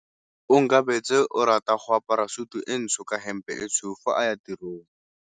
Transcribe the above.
Onkabetse o rata go apara sutu e ntsho ka hempe e tshweu fa a ya tirong.